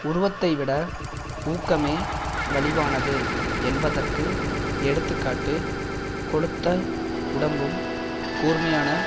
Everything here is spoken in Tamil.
உருவத்தைவிட ஊக்கமே வலிவானது என்பதற்கு எடுத்து காட்டு கொழுத்த உடம்பும் கூர்மையான